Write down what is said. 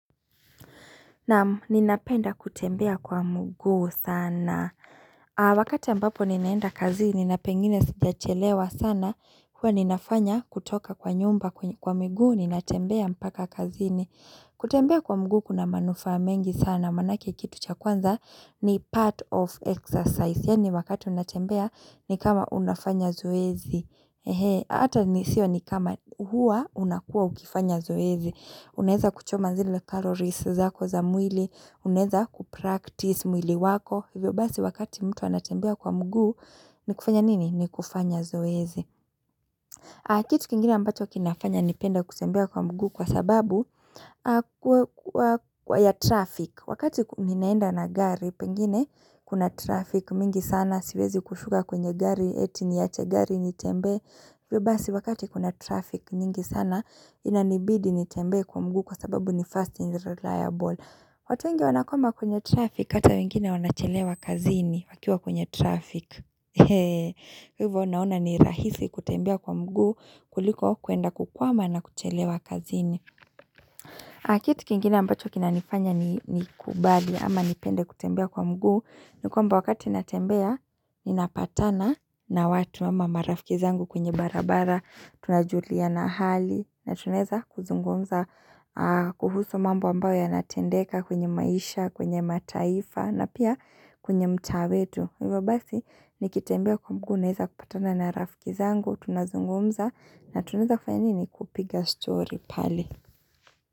Na ninapenda kutembea kwa mguu sana Wakati ambapo ninaenda kazini na pengine sija chelewa sana Kwa ninafanya kutoka kwa nyumba kwa mguu ninatembea mpaka kazi ni kutembea kwa mguu kuna manufa mengi sana Manake kitu cha kwanza ni part of exercise Yani wakati unatembea ni kama unafanya zoezi He ata ni sio ni kama hua unakua ukifanya zoezi Uneza kuchoma zile kalorisi za kwa za mwili Uneza kupractice mwili wako hivyo basi wakati mtu anatembea kwa mgu Nikufanya nini? Nikufanya zoezi kitu kingine ambacho kinafanya nipenda kutembea kwa mguu kwa sababu Kwa ya traffic Wakati ninaenda na gari pengine kuna traffic mingi sana Siwezi kushuka kwenye gari eti niyache gari nitembe Vyo basi wakati kuna traffic nyingi sana Inanibidi nitembe kwa mgu kwa sababu ni fast and reliable watu weingi wanakoma kwenye traffic Ata wengine wanachelewa kazini wakiwa kwenye traffic Heee Hivo unaona ni rahisi kutembea kwa mgu kuliko kuenda kukwama na kuchelewa kazini kitu kiengine ambacho kina nifanya ni kubali ama nipende kutembea kwa mguu Nikwamba wakati natembea Ninapatana na watu ama marafiki zangu kwenye barabara Tunajulia na hali na tuneza kuzungumza kuhusu mambo ambayo ya natendeka kwenye maisha, kwenye mataifa na pia kwenye mtaa wetu. Hivyo basi nikitembea kwa mguu neza kupatana na rafkizangu, tunazungumza na tuneza kufanya ni kupiga story pale.